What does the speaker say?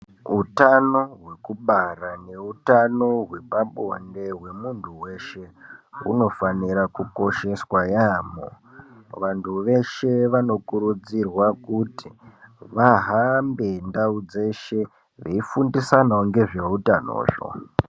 Utano hwekubara neutano hwepabonde hwemunhu weshe hunofanira kukosheswa yaamho. Vantu veshe vanokurudzirwa kuti vahambe ndau dzeshe veifundisanawo ngezveutano izvo.